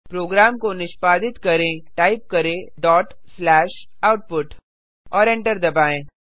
programme को निष्पादित करें टाइप करें डॉट स्लैश output और एंटर दबाएँ